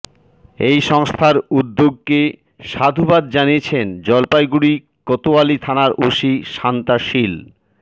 এই সংস্থার উদ্যোগকে সাধুবাদ জানিয়েছেন জলপাইগুড়ি কোতোয়ালি থানার ওসি শান্তা শীল